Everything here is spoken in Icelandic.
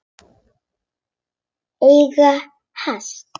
Eiga hest.